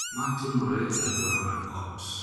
Ma timore e alwora mar ot